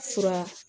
Fura